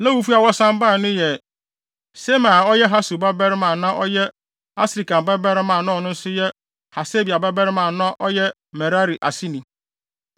Lewifo a wɔsan bae no yɛ: Semaia a ɔyɛ Hasub babarima a na ɔyɛ Asrikam babarima a na ɔno nso yɛ Hasabia babarima a na ɔyɛ Merari aseni,